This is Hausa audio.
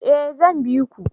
Eh zan biku